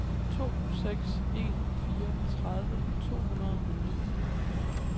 to seks en fire tredive to hundrede og ni